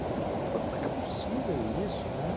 Falei, como é que é possível isso, né?